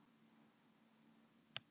Spáðu svolítið í hann.